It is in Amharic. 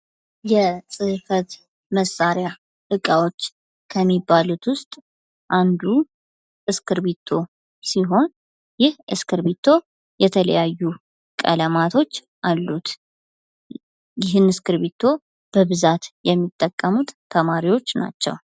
የጽፈት መሳርያ እቃዎች ከምባሉት ዉስጥ አንዱ እስክርፕቶ ስሆን፤ ይህ እስክርፕቶ የተለያዩ ቀለማቶች አሉት። ይህን እስክርፕቶ በብዛት የምጠቀሙት ተማርዎችህ ናቸው።